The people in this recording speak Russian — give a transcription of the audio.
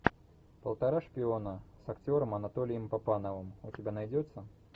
полтора шпиона с актером анатолием папановым у тебя найдется